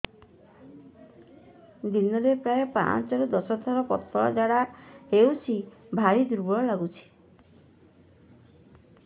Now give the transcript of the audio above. ଦିନରେ ପ୍ରାୟ ପାଞ୍ଚରୁ ଦଶ ଥର ପତଳା ଝାଡା ହଉଚି ଭାରି ଦୁର୍ବଳ ଲାଗୁଚି